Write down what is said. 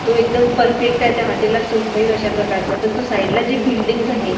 तो एकदम परफेक्ट आहे त्या हॉटेलला ला सूट होईल अशा प्रकारचा पण तो साईडला जी बिल्डिंगज आहे.